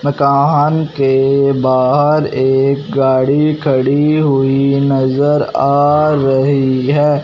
मकान के बाहर एक गाड़ी खड़ी हुई नजर आ रही है।